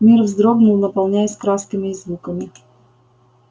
мир вздрогнул наполняясь красками и звуками